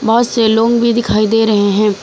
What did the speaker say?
बहोत से लोग भी दिखाई दे रहे है।